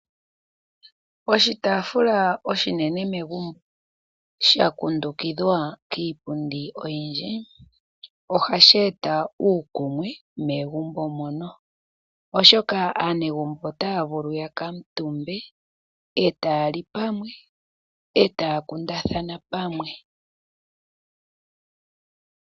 Oshitaafula oshinene megumbo sha kundukidhwa kiipundi oyindji ohashi eta uukumwe megumbo mono, oshoka aanegumbo otaya vulu ya kuutumbe e taya li pamwe, e taya kundathana pamwe.